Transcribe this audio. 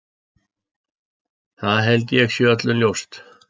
Það held ég sé öllum ljóst.